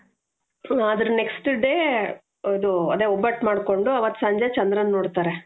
ಅದರ next day ಅದು ಅದೇ ಒಬ್ಬಟ್ಟು ಮಾಡ್ಕೊಂಡು ಆವತ್ ಸಂಜೆ ಚಂದ್ರನ್ನ ನೋಡ್ತಾರೆ.